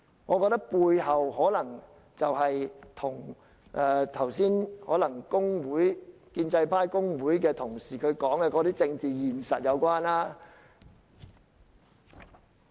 我覺得背後的原因可能與剛才建制派或工會的同事所說的政治現實有關。